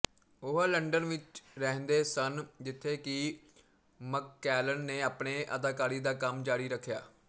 ਉਹ ਲੰਡਨ ਵਿੱਚ ਰਹਿੰਦੇ ਸਨ ਜਿੱਥੇ ਕਿ ਮਕਕੈਲਨ ਨੇ ਆਪਣੇ ਅਦਾਕਾਰੀ ਦਾ ਕੰਮ ਜਾਰੀ ਰੱਖਿਆ